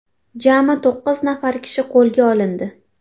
Jami to‘qqiz nafar kishi qo‘lga olindi.